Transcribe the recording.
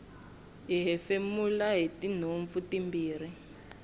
hi hefemula hitinhompfu timbirhi